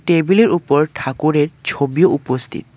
টেবিলের উপর ঠাকুরের ছবি উপস্থিত।